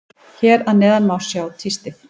Hér að neðan má sjá tístið.